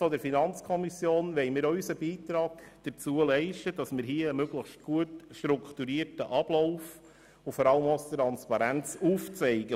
Seitens der FiKo wollen wir auch unseren Beitrag leisten, um einen möglichst gut strukturierten Ablauf und vor allem auch Transparenz aufzuzeigen.